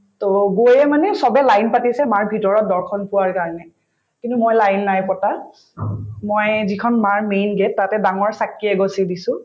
to গৈয়ে মানে চবে line পাতিছে মাৰ ভিতৰত দৰ্শন পোৱাৰ কাৰণে কিন্তু মই line নাই পতা মই যিখন মাৰ main gate তাতে ডাঙৰ চাকি এগছি দিছো